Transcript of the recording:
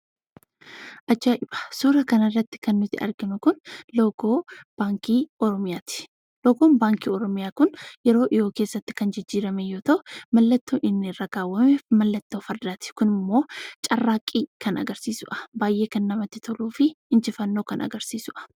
Suuraa kanarratti kan arginu kun loogoo Baankii Oromiyaati. Loogoon Baankii Oromiyaa kun yeroo dhiyoo keessatti kan jijjiirame yoo ta'u, kan inni irra kaawwame mallattoo fardaati. Kunimmoo carraaqqii kan agarsiisudha. Baay'ee kan namatti toluu fi injifannoo kan agarsiisudha.